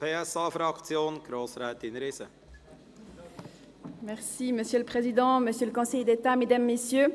Für die SP-JUSO-PSA-Fraktion hat Grossrätin Riesen das Wort.